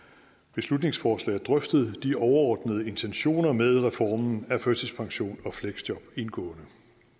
beslutningsforslag drøftet de overordnede intentioner med reformen af førtidspension og fleksjob indgående